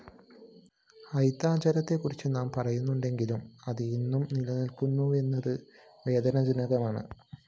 അയിത്താചരണത്തെ കുറിച്ച് നാം പറയാറുണ്ടെങ്കിലും അത് ഇന്നും നിലനില്‍ക്കുന്നുവെന്നത് വേദനാജനകമാണ്